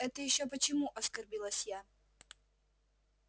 это ещё почему оскорбилась я